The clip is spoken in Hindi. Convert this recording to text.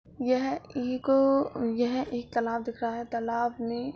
यह एक अ यह एक तालाब दिख रहा है। तालाब में --